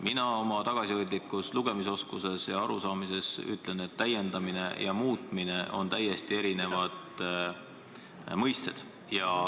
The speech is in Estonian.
Mina oma tagasihoidliku lugemisoskuse ja arusaamisega ütlen, et täiendamine ja muutmine on täiesti erinevad mõisted.